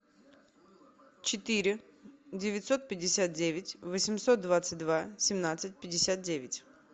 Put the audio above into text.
четыре девятьсот пятьдесят девять восемьсот двадцать два семнадцать пятьдесят девять